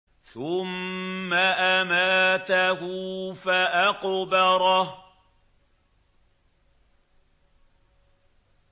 ثُمَّ أَمَاتَهُ فَأَقْبَرَهُ